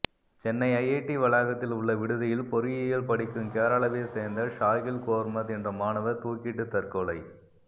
Chennai IIT வளாகத்தில் உள்ள விடுதியில் பொறியியல் படிக்கும் கேரளாவைச் சேர்ந்த ஷாகீல் கோர்மத் என்ற மாணவர் தூக்கிட்டு தற்கொலை